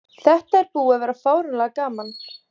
Þetta er búið að vera fáránlega gaman.